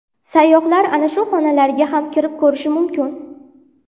Sayyohlar ana shu xonalarga ham kirib ko‘rishi mumkin.